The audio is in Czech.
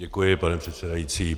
Děkuji, pane předsedající.